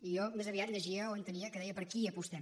i jo més aviat llegia o entenia que deia per qui apostem